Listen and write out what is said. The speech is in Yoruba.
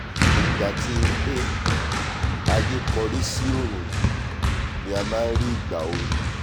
ìgbà tí ilé-aiyé kórí sí òòrùn yìí ni a máa nrí ìgbà ooru